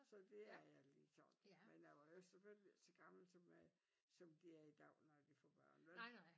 Så det er jeg ligesom men jeg var jo ikke selvfølgelig så gammel som øh som de er i dag når de får børn vel